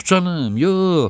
Yox canım, yox.